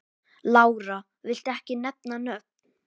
Lára: Viltu ekki nefna nöfn?